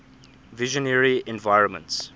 visionary environments